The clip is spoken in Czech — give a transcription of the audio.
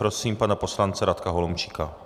Prosím pana poslance Radka Holomčíka.